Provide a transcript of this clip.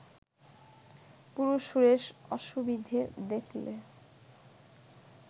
পুরুষ-সুরেশ অসুবিধে দেখলে